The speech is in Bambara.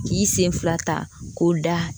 K'i sen fila ta k'o da